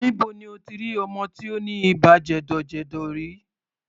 Níbo ni o ti rí ọmọ tí ó ní ibà jẹ̀dọ̀jẹ̀dọ̀ rí?